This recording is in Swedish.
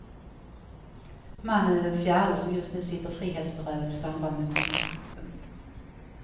Mannen är den fjärde, som just nu sitter frihetsberövad i samband med konstkuppen.